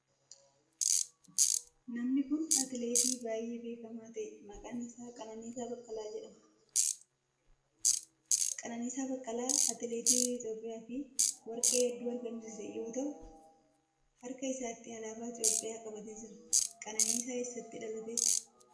Namni kun atileetii baayyee beekamaa ta'e maqaan isaa Qananiisaa Baqqalaa jedhama. Qananiisaa Baqqalaa atileetii biyya Itiyoophiyaaf warqee heddu argamsiise yoo ta'u harka isaatti alaabaa Itiyoophiyaa qabatee jira. Qananiisan eessatti dhalate?